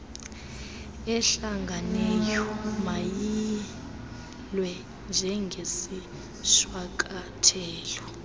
ehlanganeyo mayiyilwe njengesishwankathelo